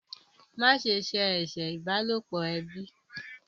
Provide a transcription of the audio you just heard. Ma se ṣe eṣe ìbálòpọ̀ ẹbí!